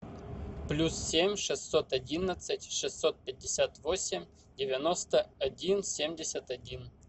плюс семь шестьсот одиннадцать шестьсот пятьдесят восемь девяносто один семьдесят один